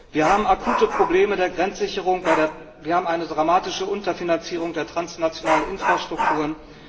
Wir haben akute Probleme der Grenzsicherung, wir haben eine dramatische Unterfinanzierung der transnationalen Infrastrukturen.